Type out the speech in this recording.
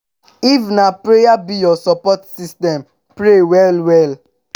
if na prayer be yur sopport system pray well well